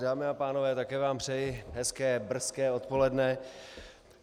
Dámy a pánové, také vám přeji hezké brzké odpoledne.